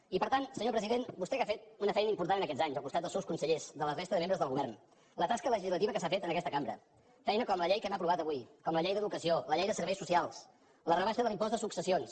i per tant senyor president vostè que ha fet una feina important en aquests anys al costat dels seus consellers de la resta de membres del govern la tasca legislativa que s’ha fet en aquesta cambra feina com la llei que hem aprovat avui com la llei d’educació la llei de serveis socials la rebaixa de l’impost de successions